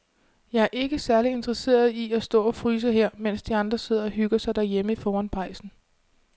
Jeg er ikke særlig interesseret i at stå og fryse her, mens de andre sidder og hygger sig derhjemme foran pejsen.